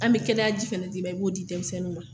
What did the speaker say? An be kɛnɛya ji fana di ma, i b'o di denmisɛnninninw ma.